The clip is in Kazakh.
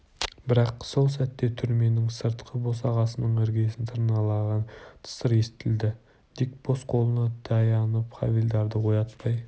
бірақ сол сәтте түрменің сыртқы босағасының іргесін тырналаған тысыр естілді дик бос қолына таянып хавильдарды оятпай